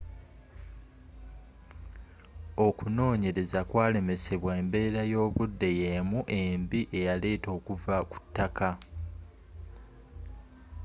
okunonyereza kwalemesebawa embeera y'obudde y'emu embi eyaleeta okuva kutaka